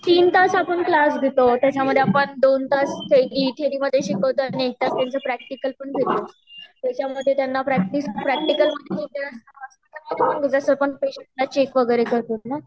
तीन तास आपण क्लास घेतो त्याच्या मध्ये आपण दोन तास थेरी मध्ये शिकवतो आणि त्याचं प्रैक्टिकल पण घेतो त्याच्या मध्ये त्यांना प्रैक्टिस जस आपण पेशंटला चेक वैगेरे करतो ना